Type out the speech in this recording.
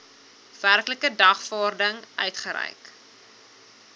werklike dagvaarding uitgereik